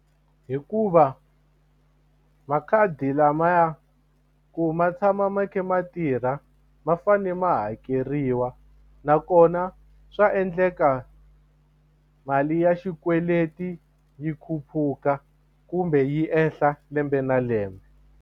Hikuva makhadi lama ya ku ma tshama ma kha ma tirha ma fane ma hakeriwa nakona swa endleka mali ya xikweleti yi khuphuka kumbe yi ehla lembe na lembe.